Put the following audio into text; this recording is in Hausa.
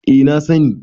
eh na sani